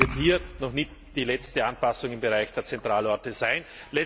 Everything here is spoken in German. Das heißt, es wird hier noch nicht die letzte Anpassung im Bereich der Zentralorte sein.